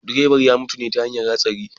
Direban ya mutu ne ta hanyar hatsari